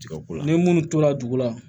ni minnu tora dugu la